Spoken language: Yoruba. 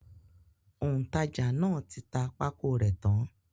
Òǹtajà náà ti ta pákó rẹ̀ tán.